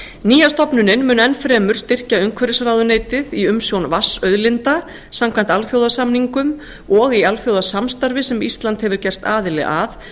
nýja stofnunin mun enn fremur styrkja umhverfisráðuneytið í umsjón vatnsauðlinda samkvæmt alþjóðasamningum og í alþjóðasamstarfi sem ísland hefur gerst aðili að